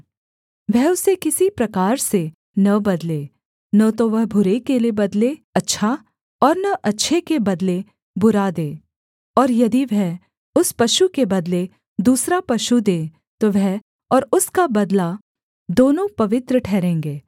वह उसे किसी प्रकार से न बदले न तो वह बुरे के बदले अच्छा और न अच्छे के बदले बुरा दे और यदि वह उस पशु के बदले दूसरा पशु दे तो वह और उसका बदला दोनों पवित्र ठहरेंगे